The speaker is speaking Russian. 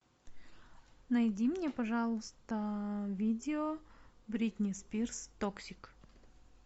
найди мне пожалуйста видео бритни спирс токсик